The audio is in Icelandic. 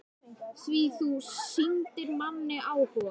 Því þú sýndir manni áhuga.